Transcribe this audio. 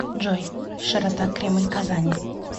джой широта кремль казани